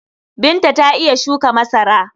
Binta ta iya shuka masara.